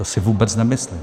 To si vůbec nemyslím.